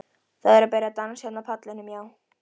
Það er að byrja dans hérna á pallinum, já.